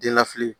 Den na fili